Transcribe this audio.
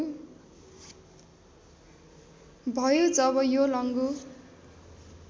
भयो जब योलङ्गु